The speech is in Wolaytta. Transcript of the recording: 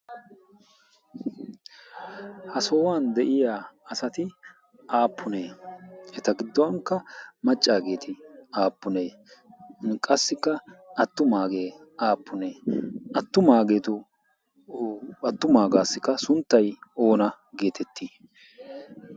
ha sohuwan de'iya asati aapunee eta gidonkka macaagetinne attumaageti aapunee? atumaageeti sunttay oona geetettii?